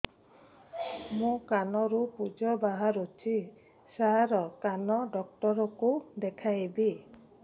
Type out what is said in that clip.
ମୋ କାନରୁ ପୁଜ ବାହାରୁଛି ସାର କାନ ଡକ୍ଟର କୁ ଦେଖାଇବି